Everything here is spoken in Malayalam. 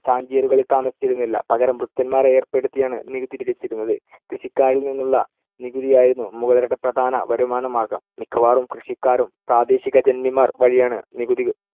ജാഗീറുകളിൽ താമസിച്ചിരുന്നില്ല. പകരം ഭൃത്യന്മാരെ ഏർപ്പെടുത്തിയാണ്‌ നികുതി പിരിച്ചിരുന്നത്. കൃഷിക്കാരിൽ നിന്നുള്ള നികുതിയായിരുന്നു മുഗളരുടെ പ്രധാന വരുമാനമാർഗ്ഗം. മിക്കവാറും കൃഷിക്കാരും പ്രാദേശിക ജന്മിമാർ വഴിയാണ്‌ നികുതി